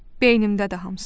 Beynimdədir hamısı.